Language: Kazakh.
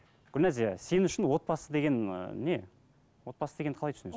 гүлназия сен үшін отбасы деген ы не отбасы дегенді қалай түсінесің